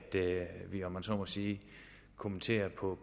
vi om man så må sige kommenterer på